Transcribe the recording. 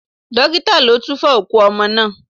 Dókítà ló túfo òkú ọmọ náà.